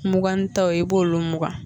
Mugannitaw i b'olu mugan.